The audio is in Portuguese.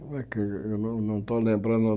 Como é que eu eu não estou lembrando...